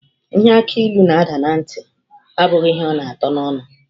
Ihe akilu n'ada na ntị, abụghị ihe ọ na atọ n'ọnụ.